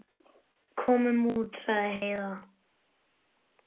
Komum út, sagði Heiða.